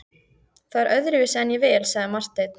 Það er öðruvísi en ég vil, sagði Marteinn.